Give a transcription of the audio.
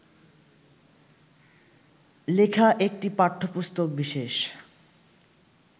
লেখা একটি পাঠ্যপুস্তকবিশেষ